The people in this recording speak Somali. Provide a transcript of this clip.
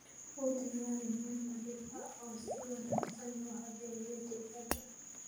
U diyaari meel nadiif ah oo si wanaagsan loo habeeyey digaagga.